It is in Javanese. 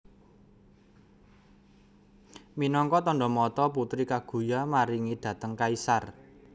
Minangka tandha mata Putri Kaguya maringi dhateng kaisar